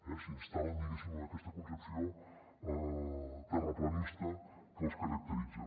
s’instal·len diguéssim en aquesta concepció terraplanista que els caracteritza